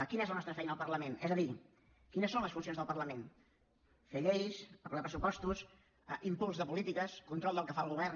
quina és la nostra feina al parlament és a dir quines són les funcions del parlament fer lleis aprovar pressupostos impuls de polítiques control del que fa el govern